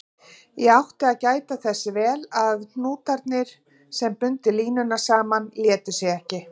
Ég átti að gæta þess vel að hnútarnir, sem bundu línuna saman, létu sig ekki.